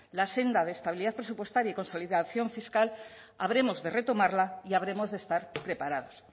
la senda de estabilidad presupuestaria y consolidación fiscal habremos de retomarla y habremos de estar preparados